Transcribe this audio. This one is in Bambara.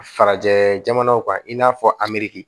Farajɛ jamanaw kan i n'a fɔ amiriki